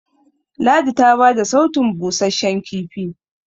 ladi ta bada sautun busasshen kifi